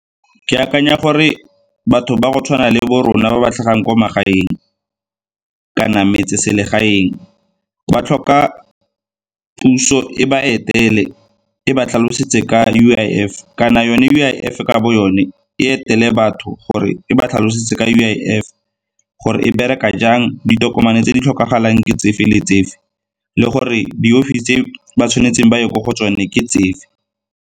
Ke akanya gore batho ba go tshwana le bo rona ba ba tlhagang kwa magaeng kana metseselegaeng ba tlhoka puso e ba etele e ba tlhalosetse ka U_I_F, kana yone U_I_F-e ka bo yone e etele batho gore e ba tlhalosetse ka U_I_F gore e bereka jang, ditokomane tse di tlhokagalang ke tsefe le tsefe le gore di tse ba tshwanetseng ba ye ko go tsone ke tsefe.